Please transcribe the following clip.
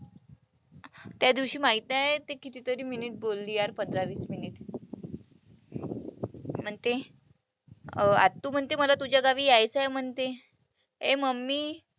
त्यादिवशी माहीत आहे, ते कितीतरी minute बोलली यार पंधरा-वीस minute म्हणते अं आत्तू म्हणते मला तुझ्या गावी यायचंय म्हणते. ए Mummy,